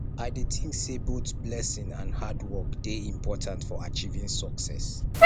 i dey think say both blessing and hard work dey important for achieving success